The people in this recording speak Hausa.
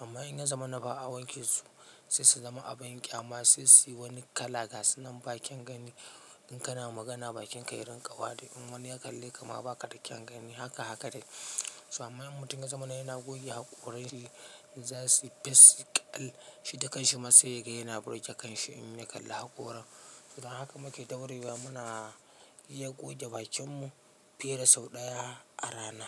Amma in ya zama na ba a wanke su sai su zama abin ƙyaama sai su yi wani kala gasunnan bakyan gani. In kana magana bakinka ya rinƙa wari in wani ya kalle ka ma baka da kyan gani haka haka dai. To amma mutum ya zama na yana goge haƙoran zasuyi fes suyi kal shi da kanshi ma sai ya ga yana burge kanshi in ya kalla haƙoran. To don haka muke ɗaurewa muna iya goge bakin mu fiye da sau ɗaya a rana.